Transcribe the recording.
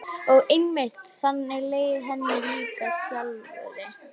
Hann var rosa æstur og lét allt vaða.